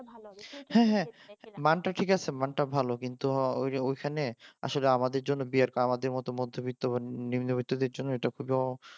হ্যাঁ হ্যাঁ মানটা ঠিক আছে মানটা ভালো কিন্তু ওইখানে আসলে আমাদের জন্য আমাদের মত মধ্যবিত্ত নিম্নবিত্তদের জন্য এটা খুবই